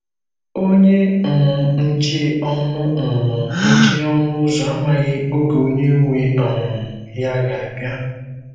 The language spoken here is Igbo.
Ọ̀nyé um nche ònụ̀ um nche ònụ̀ ụ́zọ̀ àmàghị ògé ònyé nwé um ya gà-abịa.